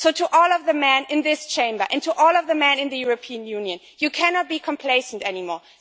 So, to all of the men in this Chamber and to all of the men in the European Union, I would say You cannot be complacent anymore.